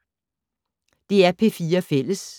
DR P4 Fælles